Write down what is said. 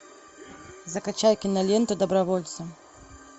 закачай киноленту добровольцы